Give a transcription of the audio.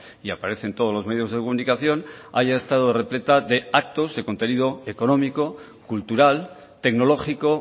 y aparece en todos los medios de comunicación haya estado repleta de actos de contenido económico cultural tecnológico